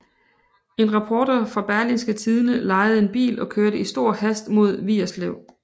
En reporter fra Berlingske Tidende lejede en bil og kørte i stor hast mod Vigerslev